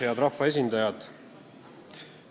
Head rahvaesindajad!